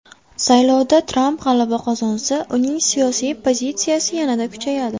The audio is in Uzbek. Saylovda Tramp g‘alaba qozonsa, uning siyosiy pozitsiyasi yanada kuchayadi.